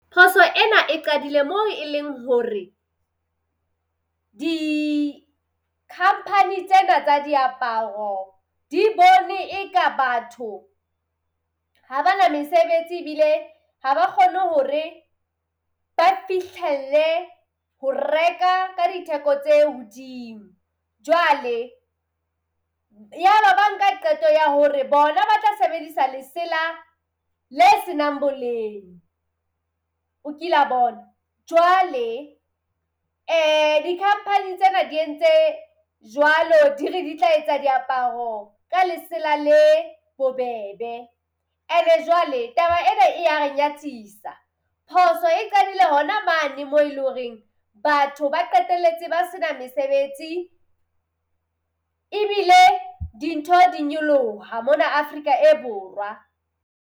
Phoso ena e qadile moo e leng hore, di-company tsena tsa diaparo di bone e ka batho ha bana mesebetsi ebile ha ba kgone hore ba fihlelle ho reka ka ditheko tse hodimo. Jwale yaba ba nka qeto ya hore bona ba tla sebedisa lesela le se nang boleng, o kila bona. Jwale di-company tsena di entse jwalo, di re di tla etsa diaparo ka lesela le bobebe. Ene jwale taba ena e ya re nyatsisa. Phoso e qadile hona mane moo e le horeng batho ba qetelletse ba sena mesebetsi ebile dintho di nyoloha mona Afrika e borwa.